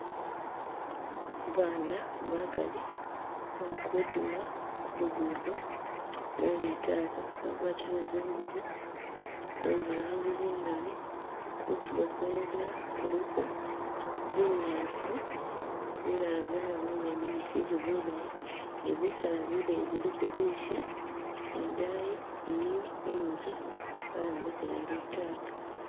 Baana bagali bali kudima ku lugudo lwe litaaka bagwatile zingubo ze zilangi zingali kutilo kwenzila kuliko binyaasi bilala byayoma bindi bikyili bilayi ni bisaala bileyi biliko zisha ni daayi iliyo inzu bayombekela litaaka.